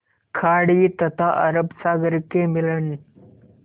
खाड़ी तथा अरब सागर के मिलन